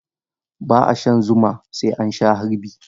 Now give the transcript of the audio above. Ba'a shan zuma sai an sha harbi.